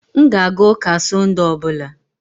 M ga-aga ụka Sund ọ bụla